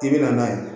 I bi na n'a ye